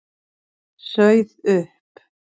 Sauð upp.